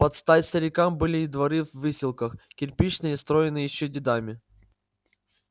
под стать старикам были и дворы в выселках кирпичные строенные ещё дедами